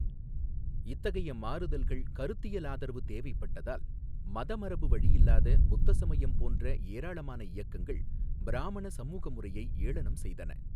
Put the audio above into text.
இத்தகைய மாறுதல்கள் கருத்தியல் ஆதரவு தேவைப்பட்டதால் மத மரபு வழியில்லாத புத்த சமயம் போன்ற ஏராளமான இயக்கங்கள் பிராமண சமூக முறையை ஏளனம் செய்தன.